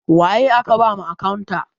Waye aka ba ma akantat?